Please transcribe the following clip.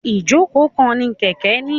Ijoko kan ni kẹkẹ ni.